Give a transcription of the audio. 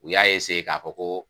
U y'a k'a fɔ koo